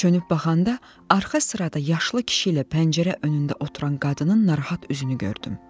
Çönüb baxanda arxa sırada yaşlı kişi ilə pəncərə önündə oturan qadının narahat üzünü gördüm.